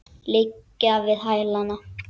Liggja við hælana.